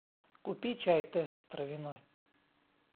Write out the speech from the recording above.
купи чай тесс травяной